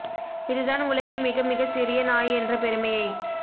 இது தான் உலகில் மிக மிக சிறிய நாய் என்ற பெருமையைப்